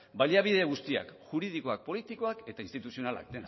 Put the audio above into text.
baliabide guztiak juridikoak politikoak eta instituzionalak